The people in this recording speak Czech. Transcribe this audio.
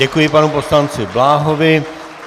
Děkuji panu poslanci Bláhovi.